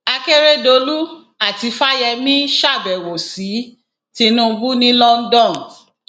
akèrèdòlù àti fáyemí ṣàbẹwò sí tinubu ní london